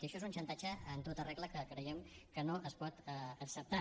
i això és un xantatge en tota regla que creiem que no es pot acceptar